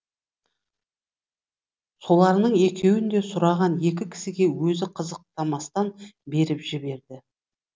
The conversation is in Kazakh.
соларының екеуін де сұраған екі кісіге өзі қызықтамастан беріп жіберді